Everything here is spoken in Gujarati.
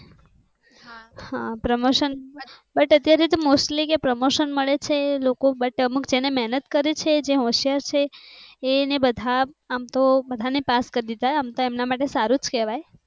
પ્રમોશન ત્યારે તો mostly કે પ્રમોશન મળે છે. લોકો but અમુક જેને મહેનત કરેં છે જે હોશિયાર છે એને બધા આમ તો બધા ને પાસ કરી. એમના માટે સારું કેવાય